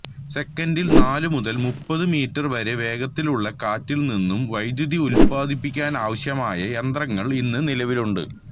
സെക്കൻഡിൽ നാലു മുതൽ മുപ്പതു മീറ്റർ വരെ വേഗതയുള്ള കാറ്റിൽ നിന്നും വൈദ്യുതി ഉത്പാദിപ്പിക്കുവാനാവശ്യമായ യന്ത്രങ്ങൾ ഇന്ന് നിലവിലുണ്ട്